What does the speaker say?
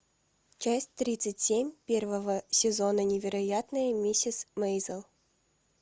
часть тридцать семь первого сезона невероятная миссис мейзел